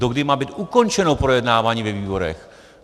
Dokdy má být ukončeno projednávání ve výborech!